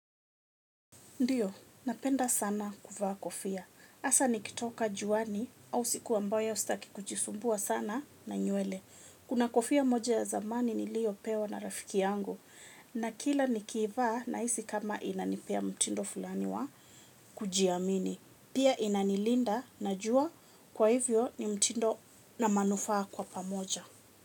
Ndiyo, napenda sana kuvaa kofia. Hasa nikitoka juani au siku ambayo sitaki kujisumbua sana na nywele. Kuna kofia moja ya zamani niliyopewa na rafiki yangu. Na kila nikiivaa nahisi kama inanipea mtindo fulani wa kujiamini. Pia inanilinda na jua kwa hivyo ni mtindo na manufaa kwa pamoja.